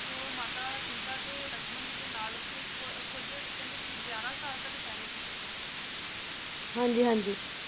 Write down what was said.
ਤੇ ਉਹ ਮਾਤਾ ਸੀਤਾ ਤੇ ਲਕਸ਼ਮਣ ਜੀ ਦੇ ਨਾਲ ਉਥੇ ਕੁ~ਕੁਛ ਕਹਿੰਦੇ ਸੀ ਗਯਾਰਾ ਸਾਲ ਤਕ ਠਹਿਰੇ ਸੀ । ਹਾਂਜੀ-ਹਾਂਜੀ।